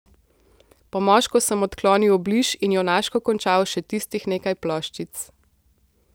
Po moško sem odklonil obliž in junaško končal še tistih nekaj ploščic.